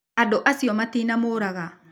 Andũ acio matinamũraga.